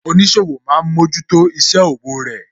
Oníṣòwò máa ń mójútó isẹ òwò rẹ